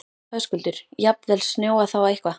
Höskuldur: Jafnvel snjóað þá eitthvað?